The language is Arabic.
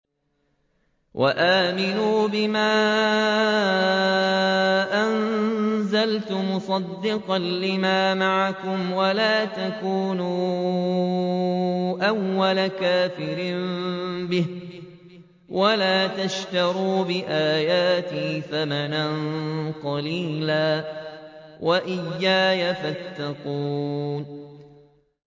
وَآمِنُوا بِمَا أَنزَلْتُ مُصَدِّقًا لِّمَا مَعَكُمْ وَلَا تَكُونُوا أَوَّلَ كَافِرٍ بِهِ ۖ وَلَا تَشْتَرُوا بِآيَاتِي ثَمَنًا قَلِيلًا وَإِيَّايَ فَاتَّقُونِ